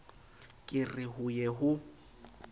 ke re ho ye ho